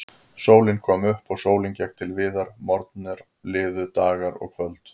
Sólin kom upp og sólin gekk til viðar, morgnar liðu, dagar og kvöld.